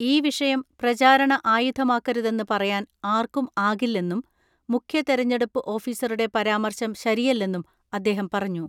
ഈ വിഷയം പ്രചാരണ ആയുധമാക്കരുതെന്ന് പറയാൻ ആർക്കും ആകില്ലെന്നും മുഖ്യ തെരഞ്ഞെടുപ്പ് ഓഫീസറുടെ പരാമർശം ശരിയല്ലെന്നും അദ്ദേഹം പറഞ്ഞു.